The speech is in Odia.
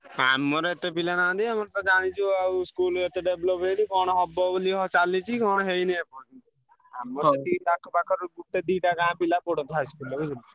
ହଁ ଆମର ଏତେ ପିଲା ନାହାନ୍ତି ଆମର ତ ଜାଣିଚୁ ଆଉ school ଏତେ develop ହେଇନି କଣ ହବ ବୋଲି ହଁ ଚାଲିଚି କଣ ହେଇନି ଏପର୍ଯ୍ୟନ୍ତ। ଆମର ଆଖ ପାଖ ପାଖରୁ ଗୋଟେ ଦିଟା ଗାଁ ପିଲା ପଢନ୍ତି high school ରେ ବୁଝିଲୁ ନା।